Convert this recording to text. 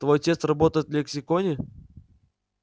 твой отец работает в лексиконе